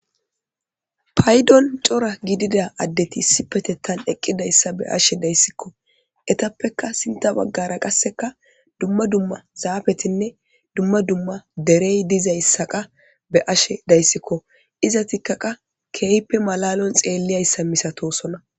Paydon cora gidida addeti issi petettan eqqidayssa be ashe dayssikko etappeka sinta baggara qasseka dumma dumma zaafetinne dumma dumma derey dizayssaqa be ashe dayssikko iza tikkaqa keeyppe malalon xeelliyayssa misatosona.